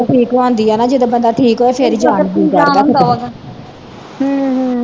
ਗੱਲ ਤੇ ਠੀਕ ਹੋਣਦੀ ਆ ਨਾ ਜਦੋ ਬੰਦਾ ਠੀਕ ਹੋਵੇ ਫਿਰ ਈ ਜਾਣ ਨੂੰ ਜੀਅ ਕਰਦਾ